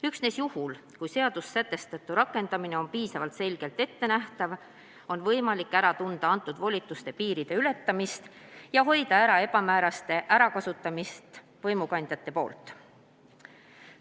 Üksnes juhul, kui normides sätestatu rakendamine on piisavalt selgesti ettenähtav, on võimalik ära tunda antud volituste piiride ületamist ja hoida ära ebamäärasuste ärakasutamist võimukandja poolt.